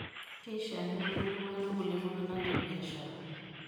keishiakino nimbung'are irkulie tung'anak tebiashara.